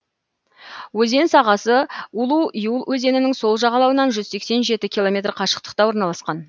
өзен сағасы улу юл өзенінің сол жағалауынан жүз сексен жеті километр қашықтықта орналасқан